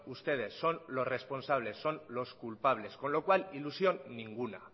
ustedes son los responsables son los culpables con lo cual ilusión ninguna